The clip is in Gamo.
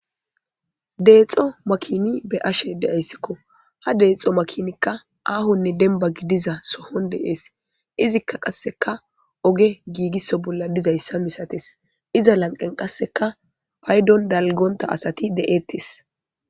Deexo makini be'ashe de'ayssiko ha deexo makinikka aahonne dembba gidiza sohon de'es izika qasseka oge giigiso bolla dizayssa misatees iza lanqqen qasseka payddon dalggonta asati de'ettees.